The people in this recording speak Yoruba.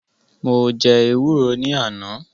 Mo jẹ́ ewúro ní àná